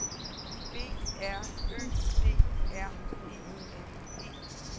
B R Ø D R E N E